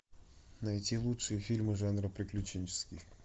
найти лучшие фильмы жанра приключенческий